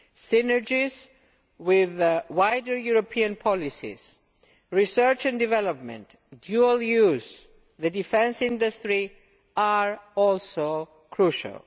Synergies with wider European policies, research and development, dual use and the defence industry are also crucial.